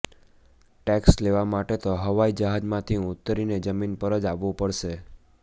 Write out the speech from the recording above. tax લેવા માટે તો હવાઈ જહાજમાંથી ઊતરીને જમીન પર જ આવવું પડશે